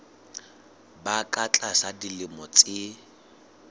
ba ka tlasa dilemo tse